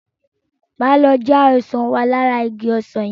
Máa lọ já ọsàn wá lára igi ọsàn yẹn.